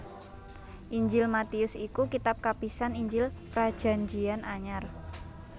Injil Matius iku kitab kapisan Injil Prajanjian Anyar